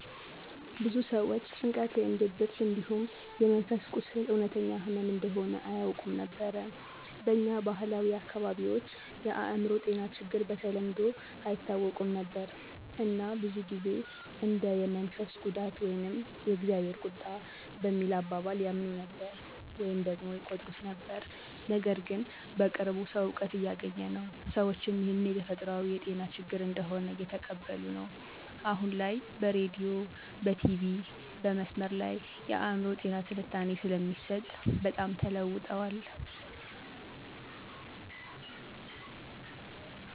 ብዙ ሰዎች ጭንቀት ወይም ድብርት እንዲሁም የመንፈስ ቁስል እውነተኛ ህመም እንደሆነ አያውቁም ነበር። በኛ ባህላዊ አካባቢዎች የአእምሮ ጤና ችግሮች በተለምዶ አይታወቁም ነበር እና ብዙ ጊዜ እንደ የመንፈስ ጉዳት ወይም የ"እግዜር ቁጣ" በሚል አባባል ያምኑ ነበር/ይቆጥሩት ነበር። ነገርግን በቅርቡ ሰዉ እውቀት እያገኘ ነው፣ ሰዎችም ይህን የተፈጥሯዊ የጤና ችግር እንደሆነ እየተቀበሉ ነዉ። አሁን ላይ በሬዲዮ/ቲቪ/መስመር ላይ የአእምሮ ጤና ትንታኔ ስለሚሰጥ በጣም ተለዉጠዋል።